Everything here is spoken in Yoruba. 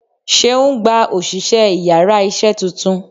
seun gbá osìsé íyarà iṣẹ túntún